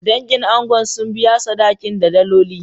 Dangin angon sun biya sadakin da daloli.